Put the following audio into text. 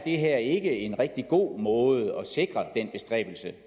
er en rigtig god måde at sikre den bestræbelse